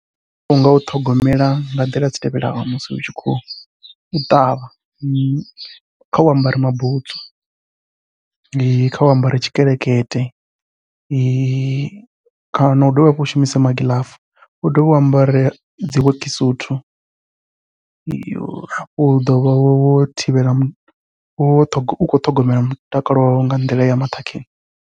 Mutakalo unga u ṱhogomela nga nḓila dzi tevhelaho musi u tshi khou ṱavha khau ambare mabutsu, khau ambare tshikelekete kana u dovhe hafhu u shumise magiḽafu, u dovhe hafhu u ambare dzi wekisuthu yo hafho u ḓovha wo thivhela wo ukho ṱhogomela mutakalo wau nga nḓila ya maṱhakheni.